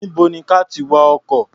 Níbo ni ka ti wa ọkọ̀?